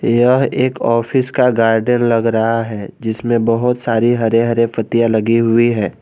यह एक ऑफिस का गार्डन लग रहा है जिसमें बहोत सारी हरे हरे पत्तियां लगी हुई है।